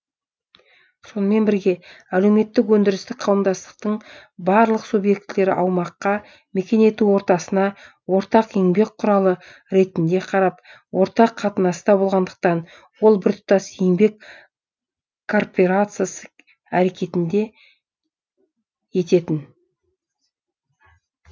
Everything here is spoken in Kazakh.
сонымен бірге әлеуметтік өндірістік қауымдастықтың барлық субъектілері аумаққа мекен ету ортасына ортақ еңбек құралы ретінде қарап ортақ қатынаста болғандықтан ол біртұтас еңбек коорперациясы әрекетінде ететін